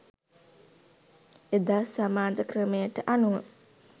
එදා සමාජ ක්‍රමයට අනුව